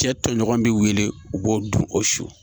Cɛ tɔɲɔgɔnw be wele u b'o dun o don su.